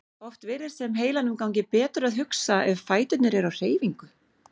Oft virðist sem heilanum gangi betur að hugsa ef fæturnir eru á hreyfingu.